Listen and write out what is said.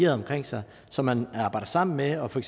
omkring sig som man arbejder sammen med og for